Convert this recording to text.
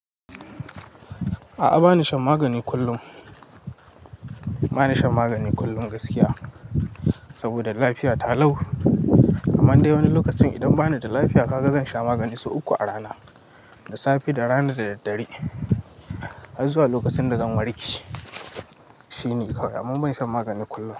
A'a, ba ni shan magani kullum. Ba ni shan magani kullum gaskiya, saboda lafiya ta lau. Amma dai wani lokacin idan ba ni da lafiya, kaga zan sha magani sau uku a rana, da safe, da rana da daddare. Har zuwa lokacin da zan warke. Shi ne kawai, amma ban shan magani kullum.